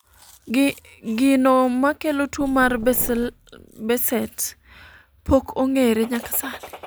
gino makelo tuo mar Behcet pok ong'ere nyaka sani